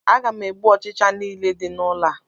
Aga m egbu ọchịcha nile di n'ụlọ a